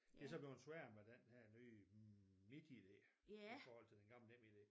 Det så bleven sværere med den her nye MitID i forhold til den gamle NemID